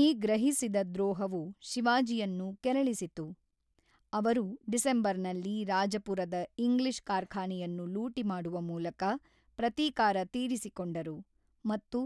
ಈ ಗ್ರಹಿಸಿದ ದ್ರೋಹವು ಶಿವಾಜಿಯನ್ನು ಕೆರಳಿಸಿತು, ಅವರು ಡಿಸೆಂಬರ್‌ನಲ್ಲಿ ರಾಜಾಪುರದ ಇಂಗ್ಲಿಷ್ ಕಾರ್ಖಾನೆಯನ್ನು ಲೂಟಿ ಮಾಡುವ ಮೂಲಕ ಪ್ರತೀಕಾರ ತೀರಿಸಿಕೊಂಡರು ಮತ್ತು